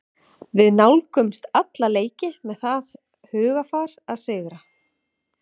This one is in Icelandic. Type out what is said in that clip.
Við nálgumst alla leiki með það hugarfar að sigra.